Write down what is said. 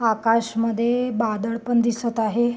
आकाश मध्ये बादल पण दिसंत आहे.